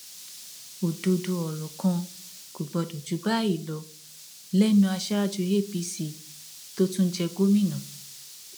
òdodo ọrọ kan kò gbọdọ jù báyìí lọ lẹnu aṣáájú apc tó tún jẹ gómìnà